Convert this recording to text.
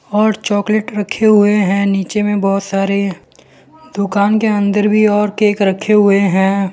और चॉकलेट रखे हुए हैं नीचे में बहोत सारे दुकान के अंदर में और केक रखे हुए हैं।